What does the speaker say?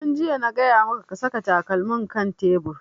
Tun jiya na gaya maka ka saka takalmin kan tebur!